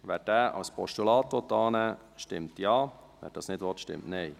Wer diesen als Postulat annehmen will, stimmt Ja, wer dies nicht will, stimmt Nein.